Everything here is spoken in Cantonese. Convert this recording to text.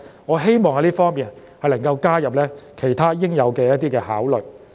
我希望他們能夠加入其他應有的因素來作考慮。